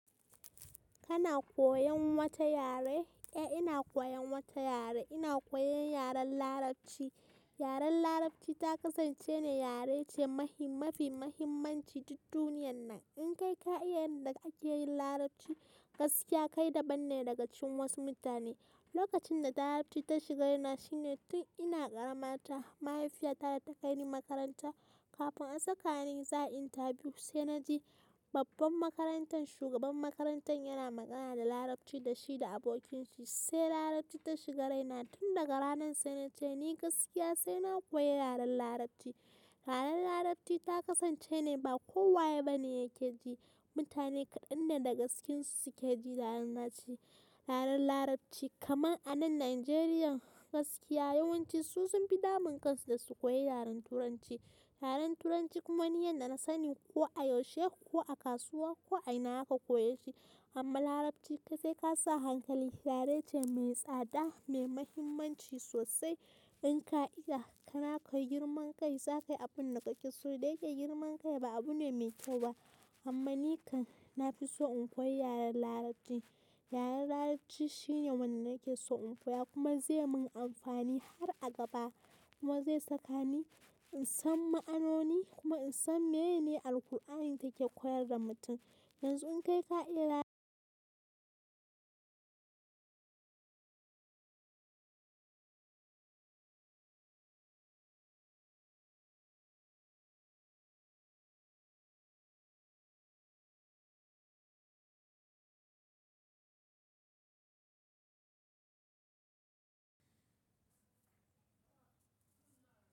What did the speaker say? Kana koyan wata yare? Eh ina koyon wata yare. Ina koyon yaren larabci. Yaren larabci ta kasance ne yare ce mafi mafi mahimmanci duk duniyan nan. In kai ka iya yanda ake yin larabci gaskiya kai daban ne daga cikin wasu mutane. Lokacin da larabci ta shiga raina shine tun ina ƙaramata mahaifiyata ta kai ni makaranta kafin a sakani za, a yi interview sai na ji babban makarantan shugaban makarantan yana magana da larabci da shi da abokinshi sai larabci ta shiga raina tun daga ranan sai na ce ni gaskiya sai na koyi yaren larabci. Yaren larabci ta kasance ne ba kowa ye ba ne yake ji mutane kaɗan ne da gaskensu suke jin yaren larabci yaren larabci kamar anan Nijeriya gaskiya yawanci su sun fi damun kansu da su koyi yaren turanci. Yaren turanci kuma ni yanda na sani ko a yaushe ko a kasuwa ko a ina zaka koyeshi amma larabci kuwa sai ka sa hankali yare ce mai tsada mai muhimmanci sosai. In ka iya kana koyi girman kai zakayi abun da kake so dai dai girman kai ba abu ne mai kyau ba amma nikan nafi so in koyi yaren larabci. Yaren larabci shine wanda nake so in koya kuma zai mun amfani har a gaba kuma zai saka ni in san ma'anoni kuma in san meyene Alqur'ani take koyar da mutum. Yanzu in kai ka iya la.